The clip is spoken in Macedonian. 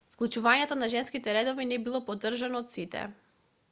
вклучувањето на женските редови не било поддржано од сите